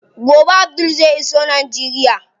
Gobe Abdul zai iso Najeriya.